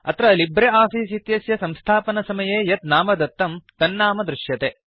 अत्र LibreOffice इत्यस्य संस्थापनसमये यत् नाम दत्तं तन्नम दृश्यते